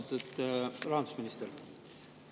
Austatud rahandusminister!